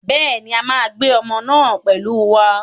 Bẹ́ẹ̀ ni, a máa gbé ọmọ náà pẹ̀lú wa.